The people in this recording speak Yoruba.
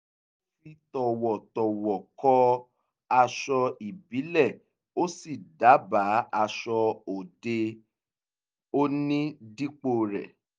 ó fi tọ̀wọ̀tọ̀wọ̀ kọ aṣọ ìbílẹ̀ ó sì dábàá aṣọ òde-òní dípò rẹ̀